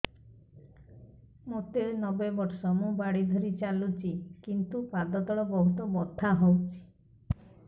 ମୋତେ ନବେ ବର୍ଷ ମୁ ବାଡ଼ି ଧରି ଚାଲୁଚି କିନ୍ତୁ ପାଦ ତଳ ବହୁତ ବଥା ହଉଛି